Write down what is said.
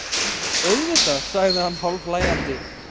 Auðvitað, sagði hann hálfhlæjandi.